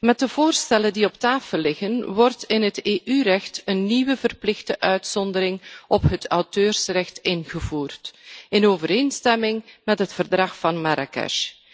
Met de voorstellen die op tafel liggen, wordt in het EU recht een nieuwe verplichte uitzondering op het auteursrecht ingevoerd in overeenstemming met het Verdrag van Marrakesh.